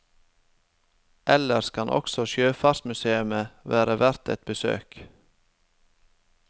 Ellers kan også sjøfartsmusèet være verdt et besøk.